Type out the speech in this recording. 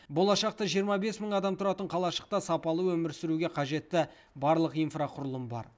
болашақта жиырма бес мың адам тұратын қалашықта сапалы өмір сүруге қажетті барлық инфрақұрылым бар